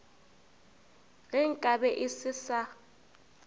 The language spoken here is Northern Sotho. ge nka be e sa